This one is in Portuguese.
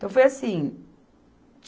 Então, foi assim.